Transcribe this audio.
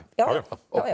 já